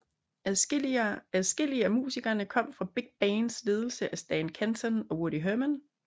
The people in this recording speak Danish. Adskillige af musikerne kom fra big bands ledet af Stan Kenton og Woody Herman